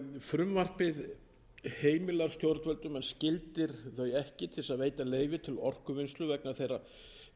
en skyldar þau ekki til að veita leyfi til orkuvinnslu vegna þeirra